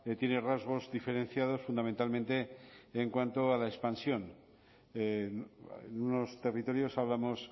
tiene rasgos diferenciados fundamentalmente en cuanto a la expansión en unos territorios hablamos